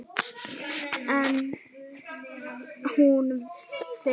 En hún fer ekki.